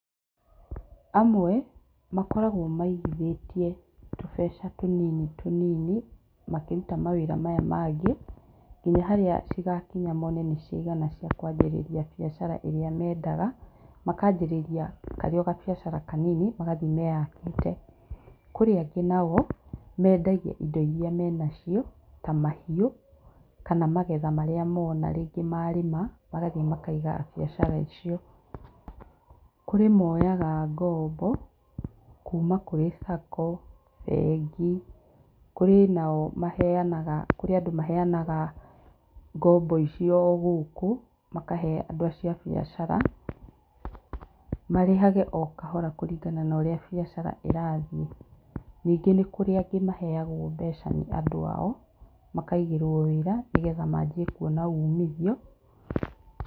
Amwe makoragwo maigithĩtie tũbeca tũnini tũnini makĩruta mawĩra maya mangĩ, nginya harĩa igakinya mone nĩciakinya ciakwambĩrĩria biacara ĩrĩa mendaga, makanjĩrĩria karĩ kabiacara kanini magathiĩ meyakĩte. Kũrĩ angĩ nao mendagia indo iria menacio ta mahiũ kana magetha marĩa mona rĩngĩ marĩma, magathie makaiga biacara icio. Kũrĩ moyaga ngombo kũma kũrĩ sacco, bengi kũrĩ nao andũ maheyanaga ngombo icio o gũkũ makahe andũ acio a biacara marĩhage o kahora kũringana na ũrĩa biacara ĩrathiĩ. Ningĩ kũrĩ angĩ maheyagwo mbeca nĩ andũ ao makaigĩrwo wĩra nĩguo manjie kuona ũmithio.